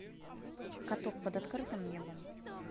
каток под открытым небом